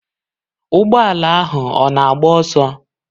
Ụgbọ ala ahụ ọ na-agba ọsọ?